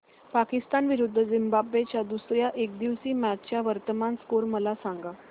पाकिस्तान विरुद्ध झिम्बाब्वे च्या दुसर्या एकदिवसीय मॅच चा वर्तमान स्कोर मला सांगा